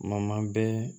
bɛɛ